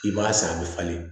I b'a san a bɛ falen